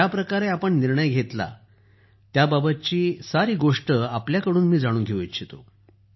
ज्या प्रकारे आपण निर्णय़ घेतला त्याबाबत मी सारी गोष्ट आपल्याकडून जाणून घेऊ इच्छितो